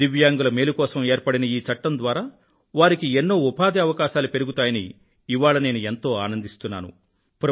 దివ్యాంగుల మేలు కోసం ఏర్పడిన ఈ చట్టం ద్వారా వారికి ఎన్నో ఉపాధి అవకాశాలు పెరుగుతాయని ఇవాళ నేను ఎంతో ఆనందిస్తున్నాను